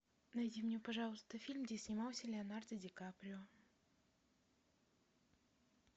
найди мне пожалуйста фильм где снимался леонардо ди каприо